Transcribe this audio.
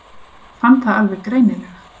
Fann það alveg greinilega.